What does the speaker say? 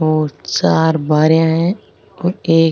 और चार बारेयां है और एक --